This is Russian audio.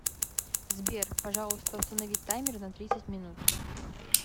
сбер пожалуйста установи таймер на тридцать минут